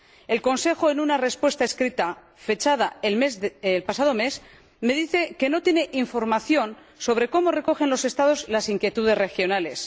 El Consejo, en una respuesta escrita fechada el pasado mes, me dice que no tiene información sobre cómo recogen los Estados las inquietudes regionales.